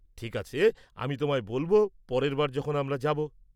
ঠিক আছে, আমি তোমায় বলব পরের বার যখন আমরা যাব।